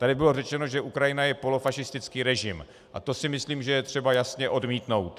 Tady bylo řečeno, že Ukrajina je polofašistický režim, a to si myslím, že je třeba jasně odmítnout.